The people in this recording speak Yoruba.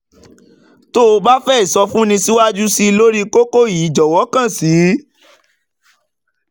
tó o bá fẹ́ ìsọfúnni síwájú sí i lórí kókó yìí jọ̀wọ́ kàn sí: